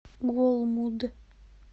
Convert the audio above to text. голмуд